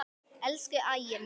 Elsku Ægir minn.